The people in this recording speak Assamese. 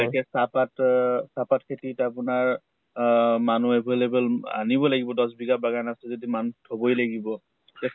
এতিয়া চাহ পাত অহ চাহ পাত খেতিত আপোনাৰ আহ মানুহ available আনিব লাগিব দশ বিঘা বাগান আছে যদি মানুহ থবই লাগিব। কেচা